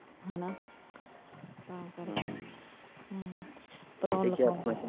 ਹੈਨਾ ਹਮ ਹਮ .